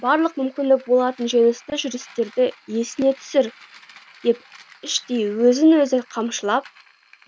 барлық мүмкін болатын жеңісті жүрістерді есіңе түсір деп іштей өзін өзі қамшылап